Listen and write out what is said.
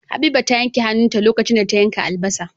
Habiba ta yanke a hanun ta lokacin da ta yanka albasa